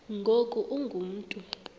ngoku ungu mntu